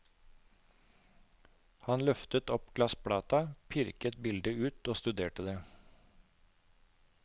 Han løftet opp glassplata, pirket bildet ut og studerte det.